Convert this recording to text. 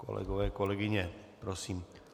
Kolegyně, kolegové, prosím...